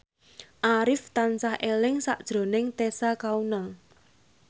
Arif tansah eling sakjroning Tessa Kaunang